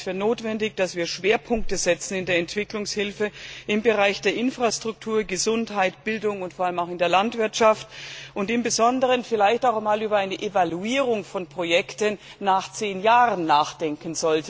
Ich halte es für notwendig, dass wir in der Entwicklungshilfe im Bereich der Infrastruktur, Gesundheit, Bildung und vor allem auch der Landwirtschaft Schwerpunkte setzen, und insbesondere vielleicht auch einmal über eine Evaluierung von Projekten nach zehn Jahren nachdenken.